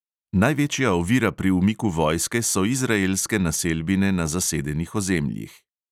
Največja ovira pri umiku vojske so izraelske naselbine na zasedenih ozemljih.